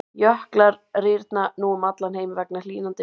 Jöklar rýrna nú um allan heim vegna hlýnandi veðurfars.